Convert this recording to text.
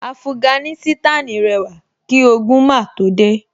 Afuganísítànì rẹwà kí ogun máa tó dé